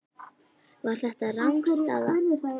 Var þetta rangstaða?